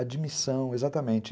Admissão, exatamente.